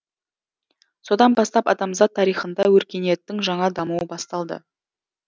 содан бастап адамзат тарихында өркениеттің жаңа дамуы басталды